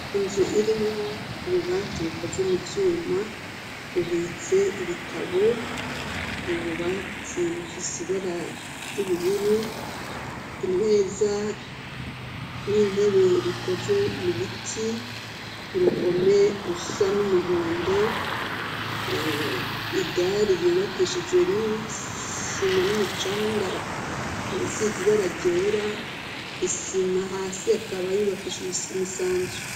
inzu irimwo ububati bukozwe mu vyuma bubitse ibitabo ububati bufise ibara y'ubururu impeza n'intebe bikozwe mubiti urukome rusa n'umuhondo idari yubakishijwe n'isima n'umucanga risize ibara ryera isima hasi akaba yubakishiJwe isima isanzwe